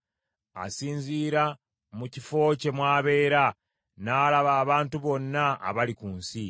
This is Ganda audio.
asinziira mu kifo kye mw’abeera n’alaba abantu bonna abali ku nsi.